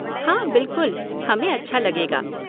हाँ बिल्कुल, हमें अच्छा लगेगा।